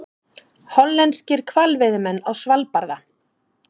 Hollenskir hvalveiðimenn á Svalbarða.